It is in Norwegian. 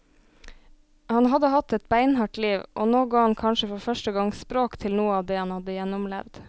Han hadde hatt et beinhardt liv, og nå ga han kanskje for første gang språk til noe av det han hadde gjennomlevd.